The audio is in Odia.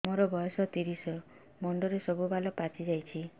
ମୋର ବୟସ ତିରିଶ ମୁଣ୍ଡରେ ସବୁ ବାଳ ପାଚିଯାଇଛି